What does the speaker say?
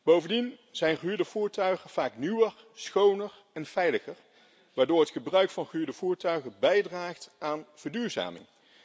Bovendien zijn gehuurde voertuigen vaak nieuwer, schoner en veiliger, waardoor het gebruik van gehuurde voertuigen bijdraagt aan verduurzaming.